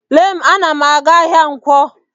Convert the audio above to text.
Lee m, ana m aga-ahịa nkwo.